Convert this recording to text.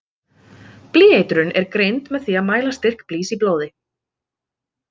Blýeitrun er greind með því að mæla styrk blýs í blóði.